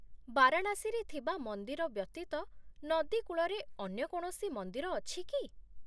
ବାରାଣାସୀରେ ଥିବା ମନ୍ଦିର ବ୍ୟତୀତ ନଦୀ କୂଳରେ ଅନ୍ୟ କୌଣସି ମନ୍ଦିର ଅଛି କି?